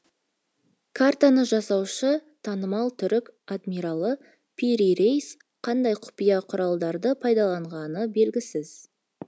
картаны жасаушы танымал түрік адмиралы пири рейс қандай құпия құрылдарды пайдаланғаны белгісіз